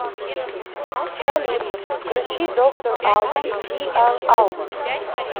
салют включи доктор албан диар албан